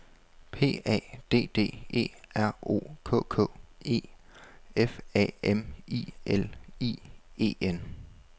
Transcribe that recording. P A D D E R O K K E F A M I L I E N